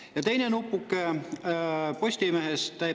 Ja teine nupuke on Postimehest.